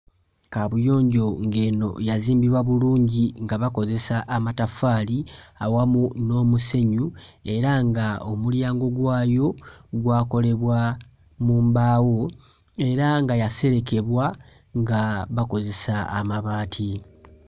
Kaabuyonjo ng'eno yazimbibwa bulungi nga bakozesa amataffaali awamu n'omusenyu era nga omulyango gwayo gwakolebwa mu mbaawo era nga yaserekebwa nga bakozesa amabaati.